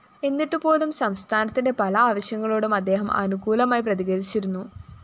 എന്നിട്ടുപോലും സംസ്ഥാനത്തിന്റെ പല ആവശ്യങ്ങളോടും അദ്ദേഹം അനുകൂലമായി പ്രതികരിച്ചിരുന്നു